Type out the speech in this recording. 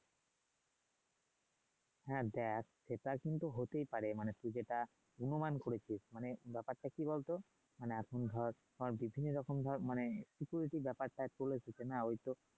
হ্যাঁ দেখ সেটা কিন্তু হতেই পারে মানে তুই যেটা অনুমান করেছিস মানে ব্যাপারটা কি বল তো মানে এখন ধর যখন বেশি রকম ধর খুটি নাটি ব্যাপারটা বলে দিছে না